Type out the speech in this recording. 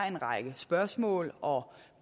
en række spørgsmål og